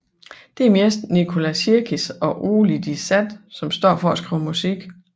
Det er mest Nicola Sirkis og Oli de Sat som står for at skrive musik